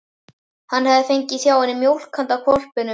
Hann hefði fengið hjá henni mjólk handa hvolpinum.